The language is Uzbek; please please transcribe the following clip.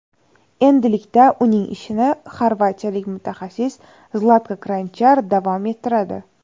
Endilikda uning ishini xorvatiyalik mutaxassis Zlatko Kranchar davom ettiradi.